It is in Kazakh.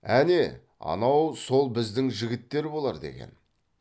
әне анау сол біздің жігіттер болар деген